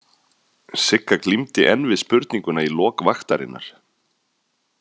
Sigga glímdi enn við spurninguna í lok vaktarinnar.